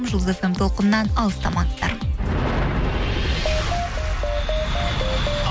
жұлдыз фм толқынынан алыстамаңыздар